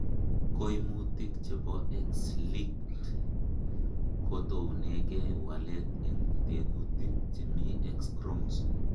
Koimituik chebo X linked kotounengei walet en tekutik chemi X chromosome.